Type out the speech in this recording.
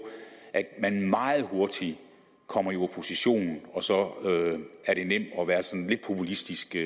at man meget hurtigt kommer i opposition og så er det nemt at være sådan lidt populistisk i